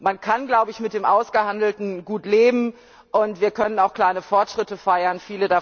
Man kann mit dem Ausgehandelten gut leben, und wir können auch kleine Fortschritte feiern.